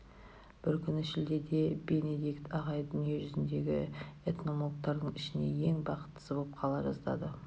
бір күні шілдеде бенедикт ағай дүние жүзіндегі энтомологтардың ішінде ең бақыттысы боп қала жаздады